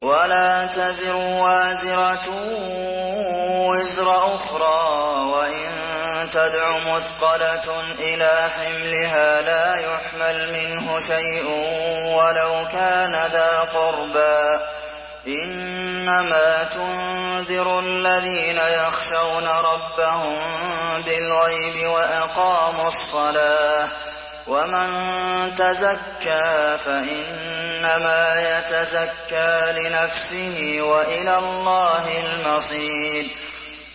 وَلَا تَزِرُ وَازِرَةٌ وِزْرَ أُخْرَىٰ ۚ وَإِن تَدْعُ مُثْقَلَةٌ إِلَىٰ حِمْلِهَا لَا يُحْمَلْ مِنْهُ شَيْءٌ وَلَوْ كَانَ ذَا قُرْبَىٰ ۗ إِنَّمَا تُنذِرُ الَّذِينَ يَخْشَوْنَ رَبَّهُم بِالْغَيْبِ وَأَقَامُوا الصَّلَاةَ ۚ وَمَن تَزَكَّىٰ فَإِنَّمَا يَتَزَكَّىٰ لِنَفْسِهِ ۚ وَإِلَى اللَّهِ الْمَصِيرُ